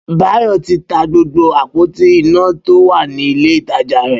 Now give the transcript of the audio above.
Bayo ti tà gbógbó ápótí iná tó wà ni ilé itàjá rẹ